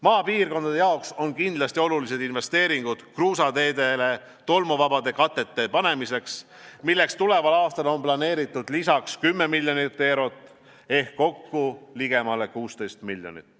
Maapiirkondade jaoks on kindlasti olulised investeeringud kruusateedele tolmuvabade katete panemiseks, milleks tuleval aastal on planeeritud lisaks 10 miljonit eurot ehk kokku ligemale 16 miljonit.